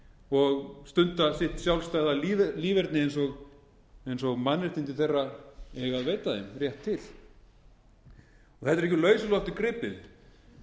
og stunda sitt sjálfstæða líferni eins og mannréttindi þeirra eiga að veita þeim rétt til þetta er ekki úr lausu lofti gripið